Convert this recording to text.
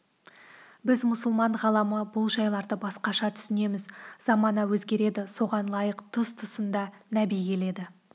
біз мұсылман ғаламы бұл жайларды басқаша түсінеміз замана өзгереді соған лайық тұс-тұсында нәби келеді